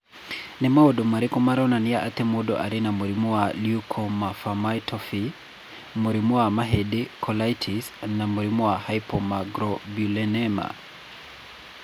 Nĩ maũndũ marĩkũ maronania atĩ mũndũ arĩ na mũrimũ wa Leukoencephalopathy, mũrimũ wa mahĩndĩ, colitis, na mũrimũ wa hypogammaglobulinema?